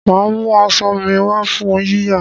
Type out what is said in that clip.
Màá mú aṣọ mi wá fún yíyà